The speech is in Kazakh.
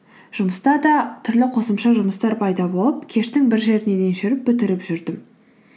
жұмыста да түрлі қосымша жұмыстар пайда болып кештің бір жеріне дейін жүріп бітіріп жүрдім